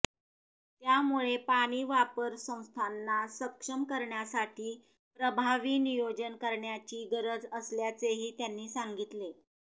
त्यामुळे पाणी वापर संस्थांना सक्षम करण्यासाठी प्रभावी नियोजन करण्याची गरज असल्याचेही त्यांनी सांगितले